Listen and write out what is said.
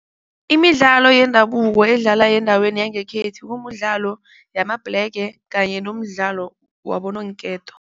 Imidlalo yendabuko edlalwa endaweni yangekhethu kumdlalo yamabhlege kanye nomdlalo wabononketo.